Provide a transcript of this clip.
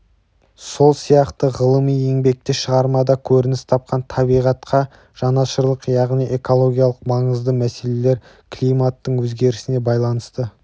сол сияқты ғылыми еңбекте шығармада көрініс тапқан табиғатқа жанашырлық яғни экологиялық маңызды мәселелер климаттың өзгерісіне байланысты